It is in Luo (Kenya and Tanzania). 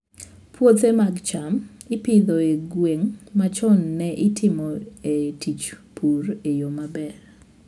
Puothe mag cham ipidho e gwenge ma chon ne itimoe tij pur e yo maber.